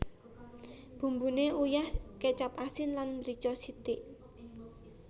Bumbune uyah kecap asin lan mrica sithik